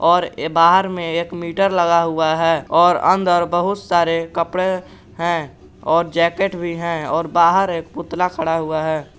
और बाहर में एक मीटर लगा हुआ है और अंदर बहुत सारे कपड़े हैं और जैकेट भी है और बाहर एक पुतला खड़ा हुआ है।